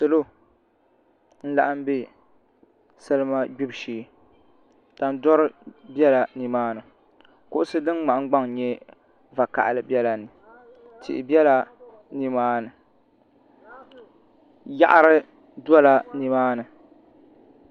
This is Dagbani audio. Salo n laɣam bɛ salima gbibu shee tandori biɛla nimaani kuɣusi din ŋmahangbaŋ nyɛ vakaɣali biɛla ni tihi biɛla nimaani yaɣari dola nimaani